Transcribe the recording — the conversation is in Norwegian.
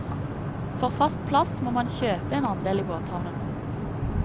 For fast plass må man kjøpe en andel i båthavnen.